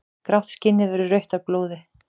Grátt skinnið verður rautt af blóði.